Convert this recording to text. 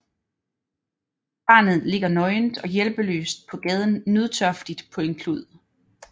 Barnet ligger nøgent og hjælpeløst på gaden nødtørftigt på en klud